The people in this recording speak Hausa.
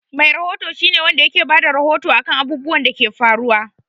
Mai rahoto shi ne Wanda ke Bada rahoto akan abubwan Dake faruwa